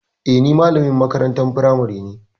Eh, ni malamin makarantar firamari ne.